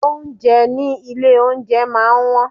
Oúnjẹ ní ilé oúnjẹ máa ń wón.